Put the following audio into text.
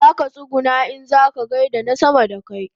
Zaka tsuguna in kaza gaida na sama da kai